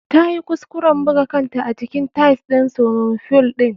Ta yi kuskuren buga kanta a jikin tiles ɗin swiming fool ɗin.